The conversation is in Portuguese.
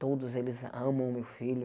Todos eles amam o meu filho.